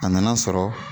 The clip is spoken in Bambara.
A nana sɔrɔ